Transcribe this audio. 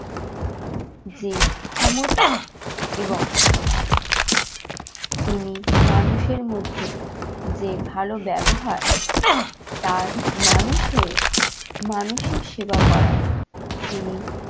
যে ক্ষমতা এবং মানুষের মধ্যে যে ভালো ব্যবহার তার মানুষ হয়ে মানুষের সেবা করার তিনি